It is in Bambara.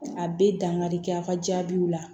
A bɛ dankari kɛ a ka jaabiw la